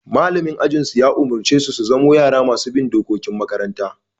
Mallamin ajin su Yunusa ya shawarce su zamo yara masu bin dokokin makaranta.